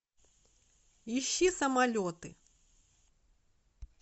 ищи самолеты